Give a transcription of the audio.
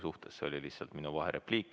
See oli lihtsalt minu vaherepliik.